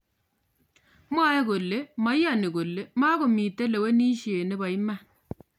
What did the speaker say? mwoe kole moiyoni kole mokomitei lewinishe nebo iman